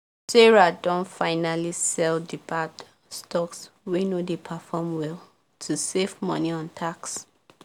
sarah don finally sell the bad stocks wey no dey perform well to save money on tax